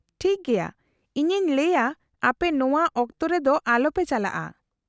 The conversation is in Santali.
-ᱴᱷᱤᱠ ᱜᱮᱭᱟ ᱾ ᱤᱧᱤᱧ ᱞᱟᱹᱭᱟ ᱟᱯᱮ ᱱᱚᱶᱟ ᱚᱠᱛᱚ ᱨᱮᱫᱚ ᱟᱞᱚᱯᱮ ᱪᱟᱞᱟᱜᱼᱟ ᱾